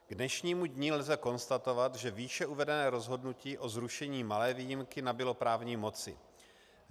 K dnešnímu dni lze konstatovat, že výše uvedené rozhodnutí o zrušení malé výjimky nabylo právní moci.